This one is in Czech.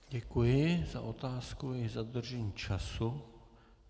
Děkuji za otázku i za dodržení času.